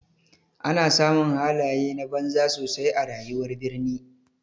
Ana samun halaye na banza sosai a rayuwar birni.